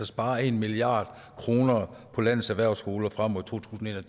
sparer en milliard kroner på landets erhvervsskoler frem mod to tusind og